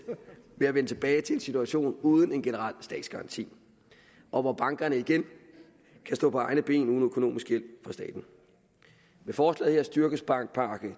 ved at vende tilbage til en situation uden en generel statsgaranti og hvor bankerne igen kan stå på egne ben uden økonomisk hjælp fra staten med forslaget her styrkes bankpakke